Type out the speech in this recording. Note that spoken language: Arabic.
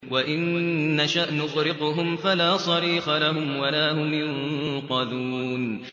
وَإِن نَّشَأْ نُغْرِقْهُمْ فَلَا صَرِيخَ لَهُمْ وَلَا هُمْ يُنقَذُونَ